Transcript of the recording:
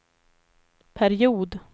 period